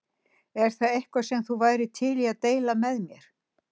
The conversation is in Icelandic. Er það eitthvað sem þú værir til í að deila með mér?